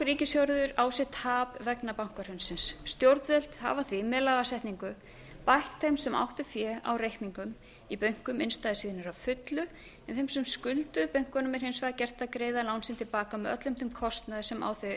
ríkissjóður á sig tap vegna bankahrunsins stjórnvöld hafa því með lagasetningu bætt þeim sem áttu fé á reikningum í bönkunum innstæður sínar að fullu en þeim sem skulduðu bönkunum er hins vegar gert að greiða lán sín til baka með öllum þeim kostnaði sem á þau